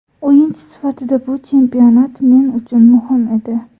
O‘yinchi sifatida bu chempionat men uchun muhim edi.